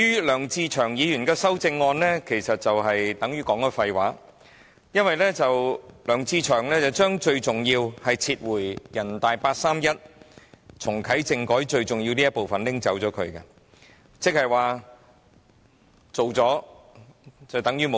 梁志祥議員的修正案其實是廢話，因為梁志祥議員將最重要的撤回人大八三一，重啟政改的部分刪走，即是"做了等於無做"。